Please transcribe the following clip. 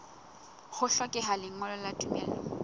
ho hlokeha lengolo la tumello